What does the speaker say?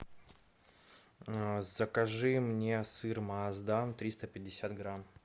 закажи мне сыр маасдан триста пятьдесят грамм